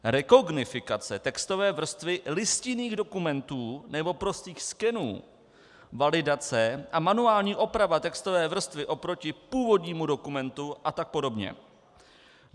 Rekognifikace textové vrstvy listinných dokumentů nebo prostých skenů, validace a manuální oprava textové vrstvy oproti původnímu dokumentu a tak podobně.